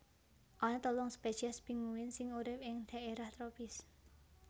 Ana telung spesies pinguin sing urip ing dhaérah tropis